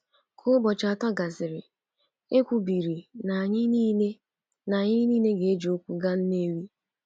“Ka ụbọchị atọ gasịrị, e kwubiri na anyị nile na anyị nile ga-eji ụkwụ gaa Nnewi.